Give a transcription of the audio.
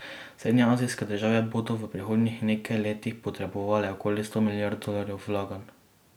Srednjeazijske države bodo v prihodnjih nekaj letih potrebovale okoli sto milijard dolarjev vlaganj.